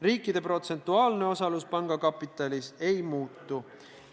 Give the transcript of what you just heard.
Riikide protsentuaalne osalus panga kapitalis ei muutu.